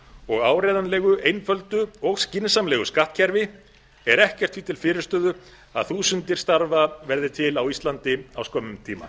og áreiðanlegu einföldu og skynsamlegu skattkerfi er ekkert því til fyrirstöðu að þúsundir starfa verði til á íslandi á skömmum tíma